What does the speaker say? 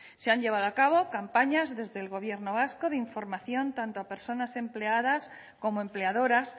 se han llevado a cabo campañas desde el gobierno vasco de información tanto a personas empleadas como empleadoras